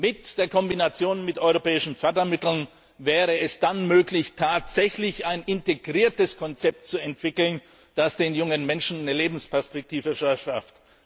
Mit der Kombination mit europäischen Fördermitteln wäre es dann möglich, tatsächlich ein integriertes Konzept zu entwickeln, das den jungen Menschen eine Lebensperspektive verschafft.